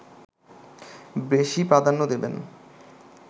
বেশি প্রাধান্য দেবেন